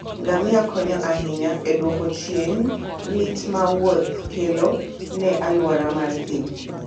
Ngamia konyo ahinya e duoko chien lit ma wuoth kelo ne alwora mar thim.